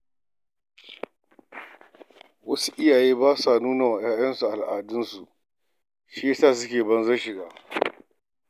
Wasu iyayen ba sa koya wa 'ya'yansu al'adunsu, don haka suke yin banzar shiga.